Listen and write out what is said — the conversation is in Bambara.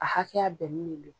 A hakɛya bɛnni le lo.